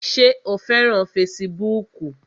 Ṣé o fẹ́ràn fesibúùkù?